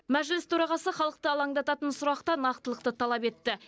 мәжіліс төрағасы халықты алаңдататын сұрақта нақтылықты талап етті